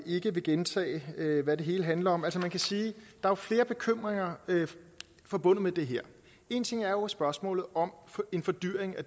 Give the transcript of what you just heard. ikke gentage hvad det hele handler om men man kan sige at der er flere bekymringer forbundet med det her en ting er jo spørgsmålet om en fordyrelse af